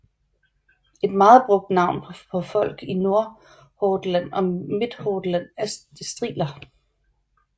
Et meget brugt navn på folk i Nordhordland og Midthordland er striler